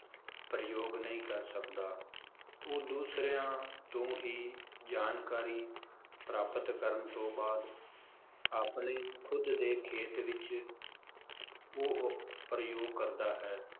ਪ੍ਰਯੋਗ ਨਹੀਂ ਕਰ ਸਕਦਾ ਉਹ ਦੂਸਰਿਆਂ ਤੋਂ ਹੀ ਜਾਣਕਾਰੀ ਪ੍ਰਾਪਤ ਕਰਨ ਤੋਂ ਬਾਅਦ ਆਪਣੇ ਖੁਦ ਦੇ ਖੇਤ ਵਿਚ ਉਹ ਪ੍ਰਯੋਗ ਕਰਦਾ ਹੈ